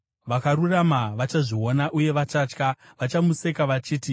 Vakarurama vachazviona uye vachatya; vachamuseka vachiti,